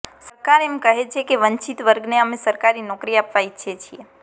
સરકાર એમ કહે છે કે વંચિત વર્ગને અમે સરકારી નોકરી આપવા ઇચ્છીએ છીએ